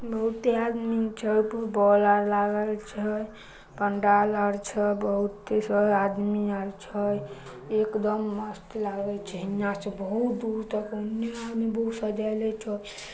बहुत आदमी छए ऊपर बॉल्ब उल्ब लागल छए पंडाल और छए बहुत सब आदमी आएल छए एकदम मस्त लगे छै इहाँ से बहुत दूर तक ओन्ने आदमी बहुत सजाएलो थो।